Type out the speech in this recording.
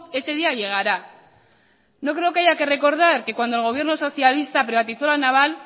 ese día llegará no creo que haya que recordar que cuando el gobierno socialista privatizó la naval